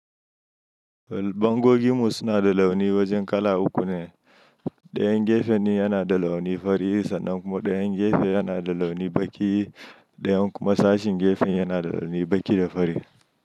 Bango ginmu suna da launi wajen kala uku ne. Dayan gefen yana da launi fari sannan kuma dayan gefe yana da launi baki, dayan kuma sashin gefen yana da launi baki da fari.